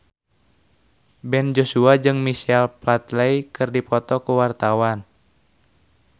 Ben Joshua jeung Michael Flatley keur dipoto ku wartawan